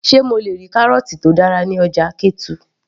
sé mo le rí kárọ̀ọ̀tì tó dára ní ọjà ketu